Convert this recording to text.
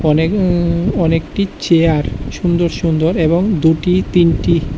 এখানে উঁ অনেকটি চেয়ার সুন্দর সুন্দর এবং দুটি তিনটি--